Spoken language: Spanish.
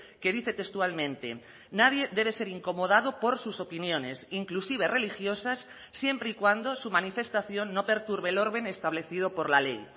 que dice textualmente nadie debe ser incomodado por sus opiniones inclusive religiosas siempre y cuando su manifestación no perturbe el orden establecido por la ley